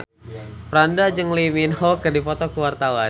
Franda jeung Lee Min Ho keur dipoto ku wartawan